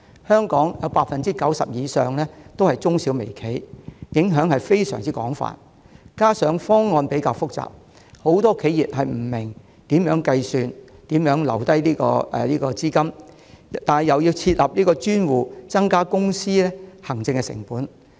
香港商界中有 90% 以上是中小微企，影響十分廣泛；再加上方案複雜，很多企業不明白如何計算所須承擔的補償金和須預留多少款項；同時又要設立專戶，增加公司的行政成本。